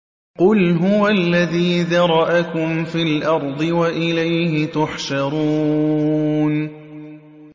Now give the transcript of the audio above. قُلْ هُوَ الَّذِي ذَرَأَكُمْ فِي الْأَرْضِ وَإِلَيْهِ تُحْشَرُونَ